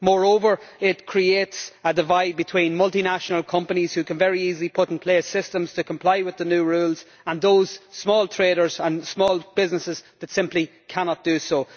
Moreover, it creates a divide between multinational companies, who can very easily put in place systems to comply with the new rules, and those small traders and small businesses that simply cannot do so.